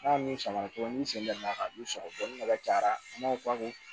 N'a min sama dɔrɔn ni sen da ka di sɔgɔsɔgɔ ni nafa cayara an b'a fɔ a ko